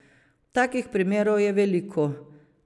Takih primerov je veliko.